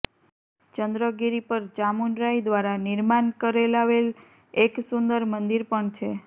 ચંદ્રગિરી પર ચામુંડરાય દ્વારા નિર્માન કરાવેલ એક સુંદર મંદિર પણ છે